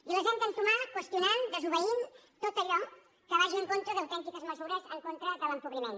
i les hem d’entomar qüestionant desobeint tot allò que vagi en contra d’autèntiques mesures en contra de l’empobriment